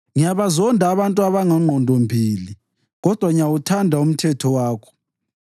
Ngiyabazonda abantu abangongqondombili, kodwa ngiyawuthanda umthetho wakho.